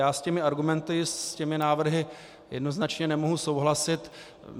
Já s těmi argumenty, s těmi návrhy, jednoznačně nemohu souhlasit.